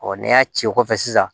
n'i y'a ci kɔfɛ sisan